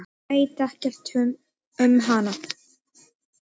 Veit ekkert um hana.